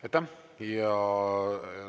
Aitäh!